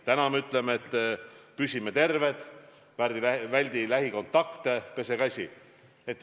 Täna me ütleme, et püsi terve, väldi lähikontakte, pese käsi.